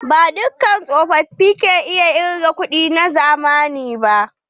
Ba dukka tsofofi ke iya kiga kuɗi na zamani ba.